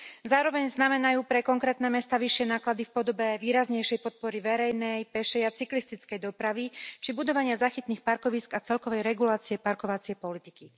Zároveň znamenajú pre konkrétne mestá vyššie náklady v podobe výraznejšej podpory verejnej, pešej a cyklistickej dopravy či budovania záchytných parkovísk a celkovej regulácie parkovacej politiky.